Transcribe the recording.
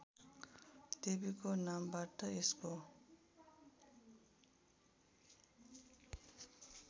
देवीको नामबाट यसको